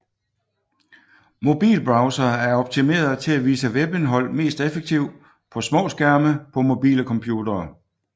Mobilbrowsere er optimerede til at vise webindhold mest effektivt på små skærme på mobile computere